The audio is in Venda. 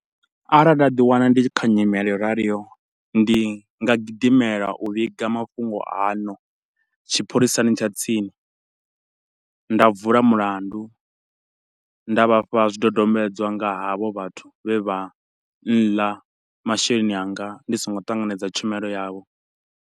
Arali nda ḓi wana ndi kha nyimele yo raliho ndi nga gidimela u vhiga mafhungo ano tshipholisani tsha tsini, nda vula mulandu, nda vhafha zwidodombedzwa nga havho vhathu vhe vha nḽa masheleni anga ndi songo ṱanganedza tshumelo yavho.